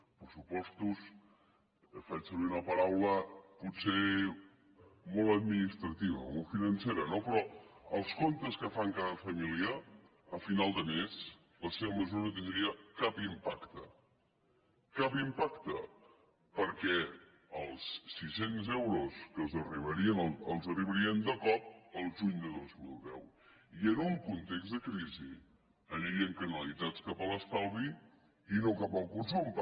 pressupostos faig servir una paraula potser molt administrativa molt financera no però als comptes que fan cada família a final de mes la seva mesura no tindria cap impacte cap impacte perquè els sis cents euros els arribarien de cop el juny del dos mil deu i en un context de crisi anirien canalitzats cap a l’estalvi i no cap al consum